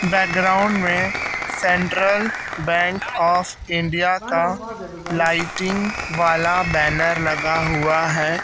Background में central bank of India का lighting वाला बैनर लगा हुआ है।